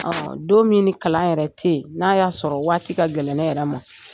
Ɔn ɔn don min ni kalan yɛrɛ tɛ yen, n'a y'a sɔrɔ waati ka gɛlɛ ne yɛrɛ ma